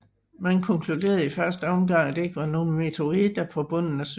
Man konkluderede i første omgang at der ikke var nogle meteoritter på bunden af søen